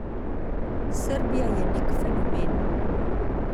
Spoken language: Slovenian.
Srbija je nek fenomen.